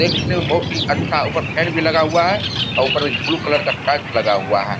देखने में बहुत ही अच्छा और ऊपर फैन भी लगा हुआ है और ऊपर एक ब्लू कलर का शर्ट लगा हुआ है।